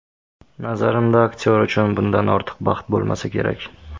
Nazarimda, aktyor uchun bundan ortiq baxt bo‘lmasa kerak.